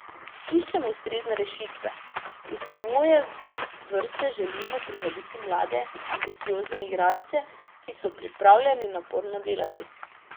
Iščemo ustrezne rešitve, v svoje vrste želimo privabiti mlade, ambiciozne igralce, ki so pripravljeni naporno delati.